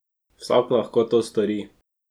Vsak lahko to stori.